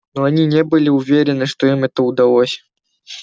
но они не были уверены что им это удалось